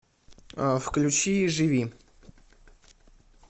включи живи